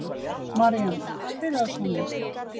Maríanna, spilaðu tónlist.